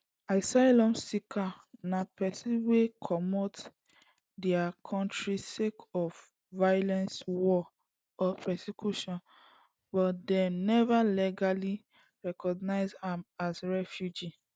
asylum seeker na pesin wey comot dia kontri sake of violence war or persecution but dem neva legally recognised am as refugee